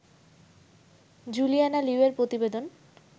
Juliana Liu এর প্রতিবেদন